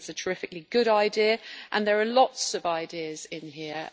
I think it is a terrifically good idea and there are lots of ideas in here.